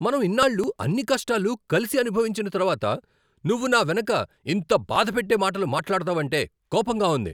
మనం ఇన్నాళ్ళు అన్ని కష్టాలు కలిసి అనుభవించిన తర్వాత నువ్వు నా వెనుక ఇంత బాధ పెట్టే మాటలు మాట్లాడతావంటే కోపంగా ఉంది.